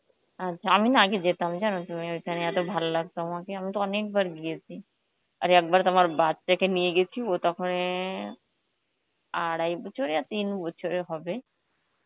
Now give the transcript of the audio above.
আচ্ছা, আমি না আগে যেতাম জানো তুমি, ওখানে এত ভাল লাগতো আমাকে, আমি তো অনেকবার গিয়েছি, আর একবার তো আমার বাচ্চাকে নিয়ে গেছি, ও তখন অ্যাঁ আড়াই বছর ইয়া তিন বছরের হবে,